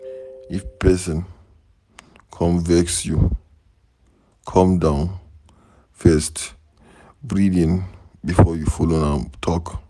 If pesin come vex you, calm down first breathe in before you follow am talk.